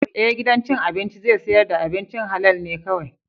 Ee, gidan cin abinci zai sayar da abincin halal ne kawai.